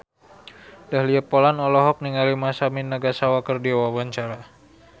Dahlia Poland olohok ningali Masami Nagasawa keur diwawancara